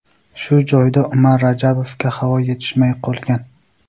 Shu joyda Umar Rajabovga havo yetishmay qolgan.